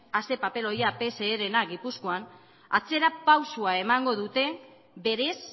a zein papeloia pserena gipuzkoan atzerapausoa emango dute berez